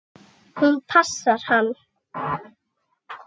Hún passar hann!